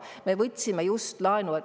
Me võtsime just laenu.